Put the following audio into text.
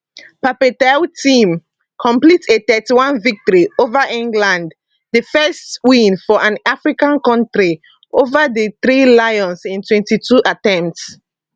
pape thiaw team complete a 31 victory ova england di first win for an african kontri ova dithree lions in 22 attempts